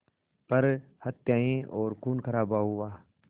पर हत्याएं और ख़ूनख़राबा हुआ